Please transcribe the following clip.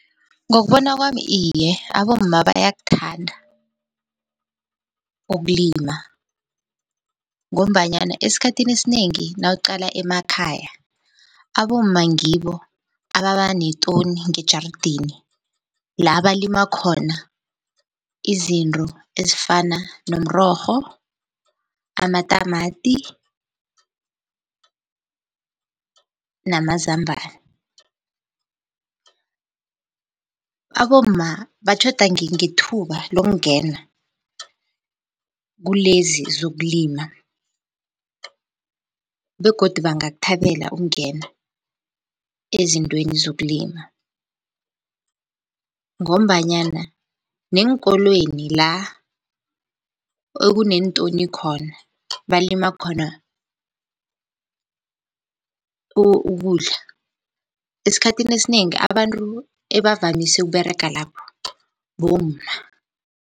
Ngokubona kwami iye, abomma bayakuthanda ukulima, ngombanyana esikhathini esinengi nawuqala emakhaya abomma ngibo ababa netoni ngejaradeni la balima khona izinto ezifana nomrorho, amatamati namazambana. Abomma batjhoda ngethuba lokungena kulezi zokulima. Begodu bangakuthabela ukungena ezintweni zokulima, ngombanyana neenkolweni la ekuneentoni khona, balima khona ukudla, esikhathini esinengi abantu ebavamise ukUberega lapho bomma.